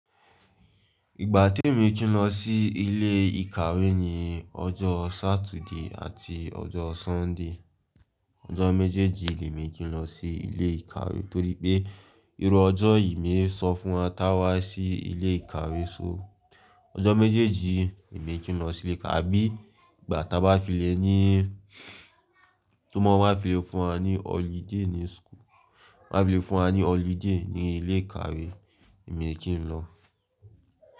Ìgbà tí èmi kí n lọ sí ilé ìkàwé ni ọjọ́ Saturday àti ọjọ́ Sunday. Ọjọ́ méjèèjì lèmi kí n lọ sí ilé ìkàwé torí pé irú ọjọ́ yìí ń sọ fún wa táa wá sí ilé ìkàwé. So ọjọ́ méjèèjì èmi kí n lọ sí ilé ìkàwé abí ìgbà tá bá fi lé ní tún mo bá fi lé fún wa ní holiday ní school, t'ọ́n bá fi lé fún wa ní holiday ní ilé ìkàwé èmi kí n lọ.